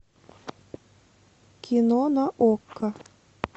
кино на окко